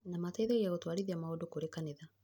Na mateithagia gũtwarithia maũndũ kũrĩ kanitha